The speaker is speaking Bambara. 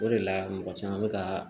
O de la mɔgɔ caman bɛ ka